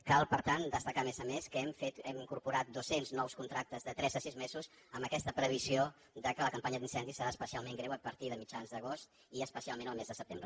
cal per tant destacar a més a més que hem incorpo·rat dos·cents nous contractes de tres a sis mesos amb aquesta previsió que la campanya d’incendis serà espe·cialment greu a partir de mitjans d’agost i especialment el mes de setembre